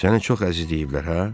Səni çox əzizləyiblər, hə?